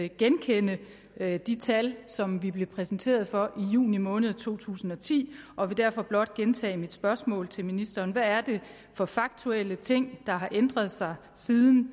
genkende de tal som vi blev præsenteret for i juni måned to tusind og ti og vil derfor blot gentage mit spørgsmål til ministeren hvad er det for faktuelle ting der har ændret sig siden